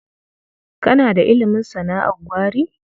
Kana da ilimin sana'ar gwari?